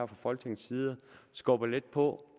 fra folketingets side skubber lidt på